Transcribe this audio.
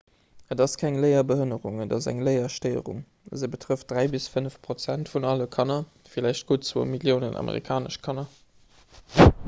et ass keng léierbehënnerung et ass eng léierstéierung se betrëfft 3 bis 5 prozent vun alle kanner vläicht gutt 2 milliounen amerikanesch kanner